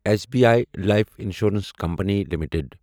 S B I life insurance company limited